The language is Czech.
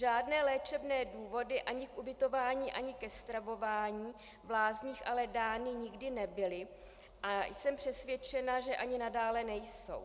Žádné léčebné důvody ani k ubytování ani ke stravování v lázních ale dány nikdy nebyly a jsem přesvědčena, že ani nadále nejsou.